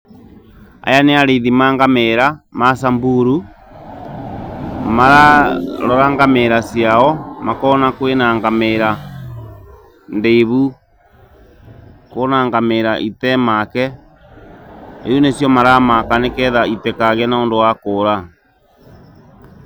Aya nĩ arĩithi ma ngamĩĩra, ma Samburu, mararora ngamĩĩra ciao, makona kwĩna ngamĩĩra ndĩivu kũna ngamĩĩra itee make, rĩu nĩcio maramaka nĩketha ĩtĩkagĩe nondũ wa kũũra.